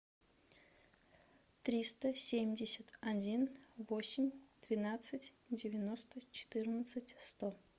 триста семьдесят один восемь двенадцать девяносто четырнадцать сто